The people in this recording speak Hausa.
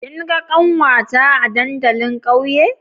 Kin ga kanwata a dandalin ƙauye?